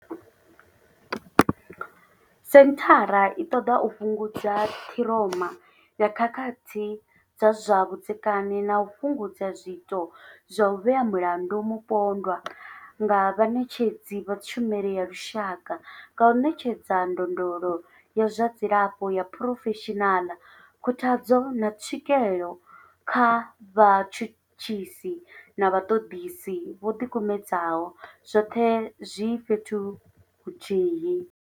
Senthara i ṱoḓa u fhungudza ṱhiroma ya khakhathi dza zwa vhudzekani na u fhungudza zwiito zwa u vhea mulandu mupondwa nga vhaṋetshedzi vha tshumelo ya lushaka nga u ṋetshedza ndondolo ya zwa dzilafho ya phurofeshinala, khuthadzo, na tswikelo kha vhatshutshisi na vhaṱoḓisi vho ḓikumedzaho, zwoṱhe zwi fhethu huthihi.